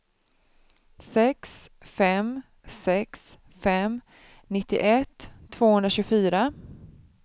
sex fem sex fem nittioett tvåhundratjugofyra